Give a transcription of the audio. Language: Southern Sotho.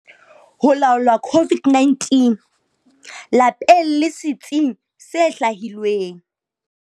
Ho laola COVID-19- Lapeng le setsing se hlwahilweng